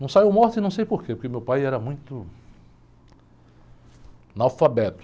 Não saiu morto e não sei por quê, porque meu pai era muito analfabeto.